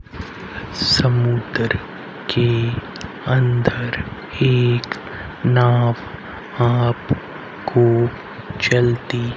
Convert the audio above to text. समुद्र के अंदर एक नाव आप को चलती--